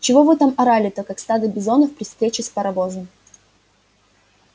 чего вы там орали-то как стадо бизонов при встрече с паровозом